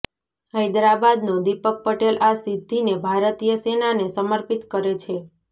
હૈદરાબાદનો દીપક પટેલ આ સિદ્ધિને ભારતીય સેનાને સમર્પિત કરે છે